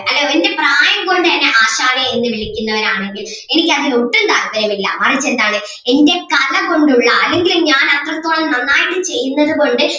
അല്ല എൻ്റെ പ്രായം കൊണ്ട് എന്നെ ആശാനേ എന്ന് വിളിക്കുന്നവര് ആണെങ്കിൽ എനിക്ക് അതിൽ ഒട്ടും താൽപര്യം ഇല്ല മറിച്ച് എന്താണ് എൻ്റെ കല കൊണ്ടുള്ള അല്ലെങ്കില് ഞാൻ അത്രത്തോളം നന്നായിട്ട് ചെയ്യുന്നത് കൊണ്ട്